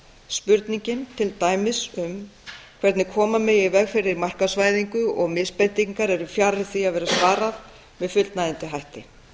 spurningin til dæmis um hvernig koma megi í veg fyrir markaðsvæðingu og misbeitingar eru fjarri því að vera svarað með fullnægjandi hætti